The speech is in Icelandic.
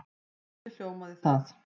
Hvernig hljómaði það?